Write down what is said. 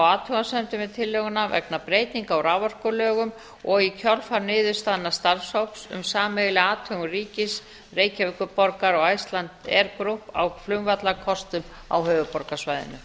við tillöguna vegna breytinga á raforkulögum og í kjölfar niðurstaðna starfshóps um sameiginlega athugun ríkis reykjavíkurborgar og icelandair group á flugvallarkostum á höfuðborgarsvæðinu